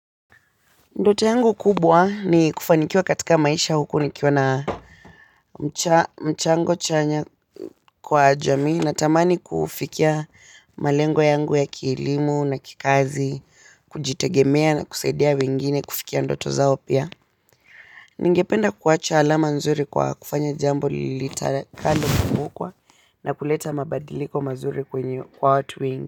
Ndoto yangu kubwa ni kufanikiwa katika maisha huku nikiwa na mchango chanya kwa jamii natamani kufikia malengo yangu ya kielimu na kikazi kujitegemea na kusaidia wengine kufikia ndoto zao pia ningependa kuwacha alama nzuri kwa kufanya jambo lilita kando kumbukwa na kuleta mabadiliko mazuri kwenye kwa watu wengi.